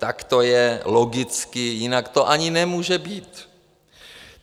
Tak to je logicky, jinak to ani nemůže být.